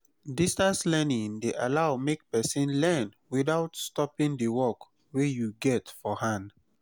distance learning de allow make persin learn without stoping di work wey you get for hand